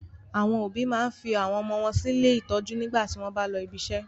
Àwọn òbí máa n fi àwọn ọmọ sí ilé ìtọ́jú nígbà tí wọn bá lọ ibiṣẹ́.